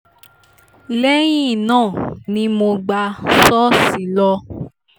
lẹ́yìn náà ni mo gbà ṣọ́ọ̀ṣì lọ